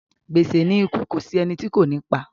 Gbèsè ni ikú kò sí ẹni tí kò ní pa.